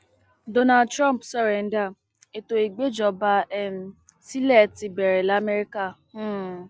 donald trump sọrèǹda ètò ìgbèjọba um sílẹ ti bẹrẹ lamẹríkà um